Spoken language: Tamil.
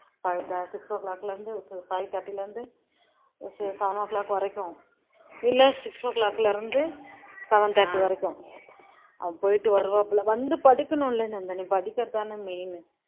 six o'clock ல இருந்து five thirty ல இருந்து seven o'clock வரைக்கும் இல்ல six o'clock ல இருந்து seven thirty வரைக்கும். போயிட்டு வருவாப்ல, வந்து படிக்கணும்ல நந்தினி படிக்கிறது தானே main உ